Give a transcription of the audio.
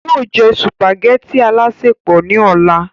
yóò jẹ sùpàgẹ́tì alásèpọ̀ ní ọ̀la